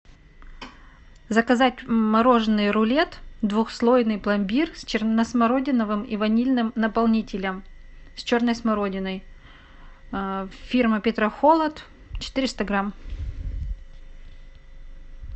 заказать мороженое рулет двухслойный пломбир с черносмородиновым и ванильным наполнителем с черной смородиной фирма петрохолод четыреста грамм